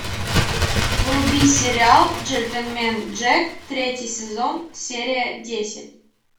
вруби сериал джентельмен джек третий сезон серия десять